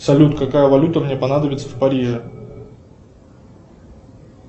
салют какая валюта мне понадобится в париже